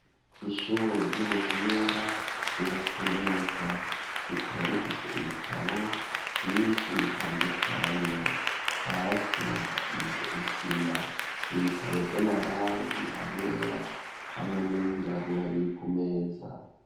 Ishure ry'ubuhinga ryubatswe neza, rikaba rifise ibitabo vyinshi bitandukanye, hasi hasize isima ibitabo vy'amarangi ayera hamwe n’ayirabura biri ku meza.